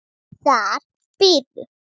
Þar biðu